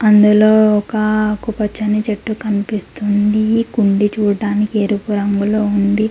ఇందులో ఒక ఆకు పచ్చని చెట్టు కనిపిస్తూ ఉంది. కుండీ చూడడానికి ఎరుపు రంగులో ఉంది.